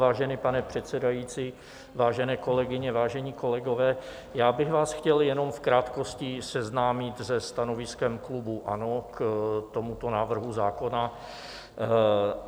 Vážený pane předsedající, vážené kolegyně, vážení kolegové, já bych vás chtěl jenom v krátkosti seznámit se stanoviskem klubu ANO k tomuto návrhu zákona.